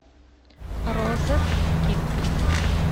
розет кит